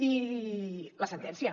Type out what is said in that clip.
i la sentència